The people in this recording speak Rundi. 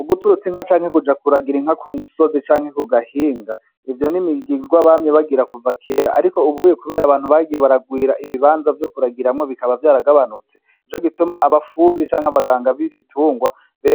Uguturutsa inka canke kuja kuragira inka ku musozi canke ku gahinga, ivyo n'imigirwa bamye bagira kuva kera ariko ubuye kubera abantu bagiye baragwira ibibanza vyo kuragiramwo bikaba vyaragabanutse, nico gituma abafundi canke abaganga b'ibitungwa